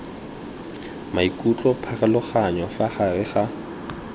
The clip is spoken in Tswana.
maikutlo pharologanyo fa gare ga